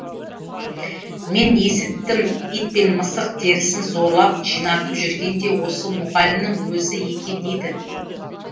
мен есіттім ит пен мысық терісін зорлап жинатып жүрген де осы мұғалімнің өзі екен дейді